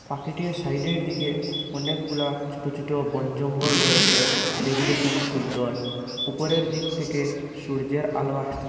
পাখিটির সাইডের দিকে অনেকগুলা ছোট ছোট বন জঙ্গল রয়েসে যেগুলি খুবই সুন্দর উপরের দিক থেকে সূর্যের আলো আসতে--